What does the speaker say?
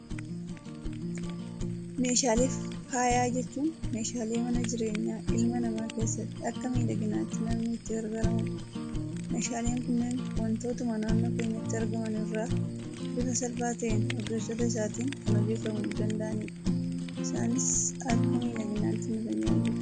Meeshaalee faayaa jechuun, meeshaalee mana jireenyaa ilma namaa keessatti, akka miidhaginaatti namni itti gargaaramudha. Meeshaaleen kunneen waantotuma naannoo keenyatti argaman irraa bifa salphaa ta'een, ogeessota isaatiin kan hojjetamuu danda'anidha. Isaanis akka miidhaginaatti nu tajaajilu.